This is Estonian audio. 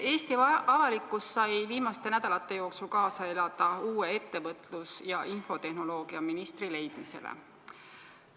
Eesti avalikkus sai viimaste nädalate jooksul kaasa elada uue väliskaubandus- ja infotehnoloogiaministri leidmisele.